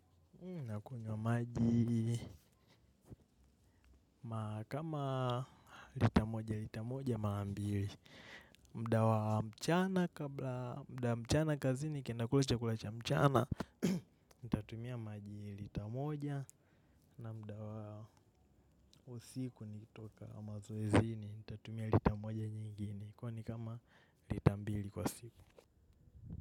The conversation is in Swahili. Nakunywa maji ma kama lita moja lita moja mara mbili. Muda wa mchana kabla muda wa mchana kazini kinakula chakula cha mchana tatumia maji lita moja na muda wa usiku nikitoka mazoezini nitatumia lita moja nyingine kwani kama lita mbili kwa siku.